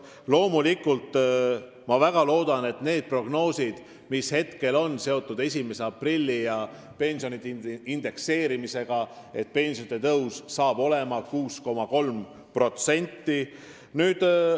Ja ma loomulikult väga loodan, et teostuvad need prognoosid, mis on seotud 1. aprilli ja pensionide indekseerimisega, ja pensionid tõusevad 6,3%.